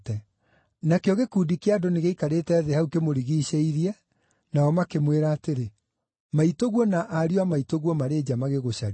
Nakĩo gĩkundi kĩa andũ nĩgĩaikarĩte thĩ hau kĩmũrigiicĩirie, nao makĩmwĩra atĩrĩ, “Maitũguo na ariũ a maitũguo marĩ nja magĩgũcaria.”